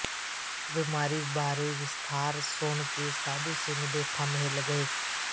ਬਿਮਾਰੀ ਬਾਰੇ ਵਿਸਥਾਰ ਸੁਣ ਕੇ ਸਾਧੂ ਸਿੰਘ ਦੇ ਥੰਮ੍ਹ ਹਿੱਲ ਗਏ